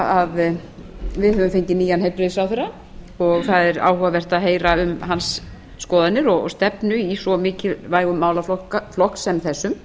að við höfum fengið nýjan heilbrigðisráðherra og það er áhugavert að heyra um hans skoðanir og stefnu í svo mikilvægum málaflokki sem þessum